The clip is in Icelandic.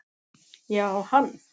Já, hann